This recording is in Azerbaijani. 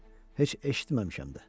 Heç eşitməmişəm də.